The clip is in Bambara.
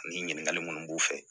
Nin ɲininkakali munnu b'u fɛ